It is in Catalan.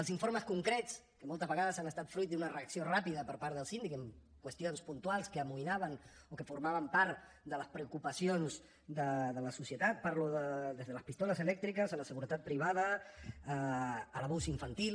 els informes concrets que moltes vegades han estat fruit d’una reacció ràpida per part del síndic en qüestions puntuals que amoïnaven o que formaven part de les preocupacions de la societat parlo des de les pistoles elèctriques a la seguretat privada a l’abús infantil